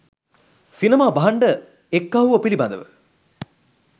'සිනමා භාණ්ඩ එක්කහුව' පිළිබඳ